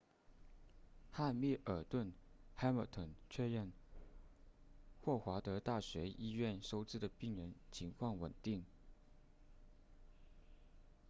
汉密尔顿 hamilton 确认霍华德大学医院收治的病人情况稳定